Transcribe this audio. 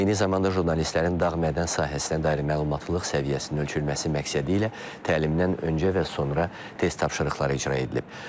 Eyni zamanda jurnalistlərin dağ mədən sahəsinə dair məlumatlılıq səviyyəsinin ölçülməsi məqsədilə təlimdən öncə və sonra test tapşırıqları icra edilib.